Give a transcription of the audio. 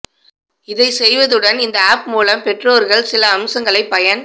இதை செய்தவுடன் இந்த ஆப் மூலம் பெற்றோர்கள் சில அம்சங்களை பயன்